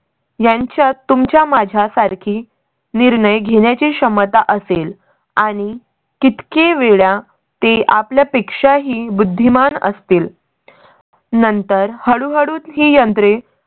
यांच्या तुमच्या माझ्या सारखी निर्णय घेण्याची क्षमता असेल आणि किती वेळा ते आपल्या पेक्षाही बुद्धिमान असतील. नंतर हळूहळू ही यंत्रे